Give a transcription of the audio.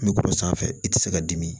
N bɛ k'o sanfɛ i tɛ se ka dimi